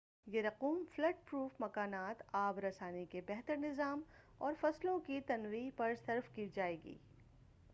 یہ رقوم flood proof مکانات آب رسانی کے بہتر نظام اور فصلوں کی تنویع پر صرف کی جائے گی